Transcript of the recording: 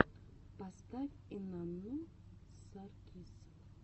поставь инанну саркис